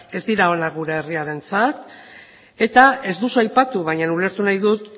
ez dira onak gure herriarentzat eta ez duzu aipatu baina ulertu nahi dut